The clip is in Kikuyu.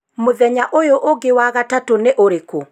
mũthenya ũyũ ũngĩ wa gatatũ nĩ ũrĩkũ